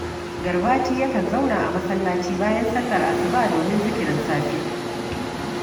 Garbati yakan zauna a masallaci bayan sallar asuba domin zikirin safe